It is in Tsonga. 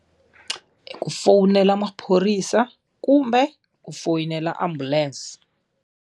Ku fonela maphorisa kumbe ku foyinela ambulense.